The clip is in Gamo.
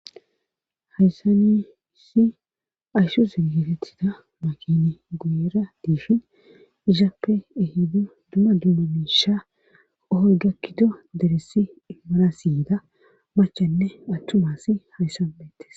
Hayssanissi ayhshu ziggetettida makini guyera diifhin izaappe ehiddu duma dumma miisha ohorgakkido deressi immarasiyyida machanne attumas hayssan beettes.